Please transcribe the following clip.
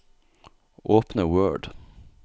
Åpne Word